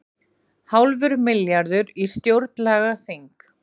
Hálfur milljarður í stjórnlagaþing